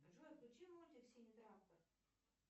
джой включи мультик синий трактор